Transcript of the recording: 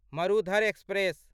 Marudhar express